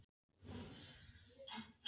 Hafið þið heyrt aðra eins vitleysu?